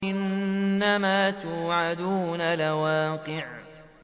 إِنَّمَا تُوعَدُونَ لَوَاقِعٌ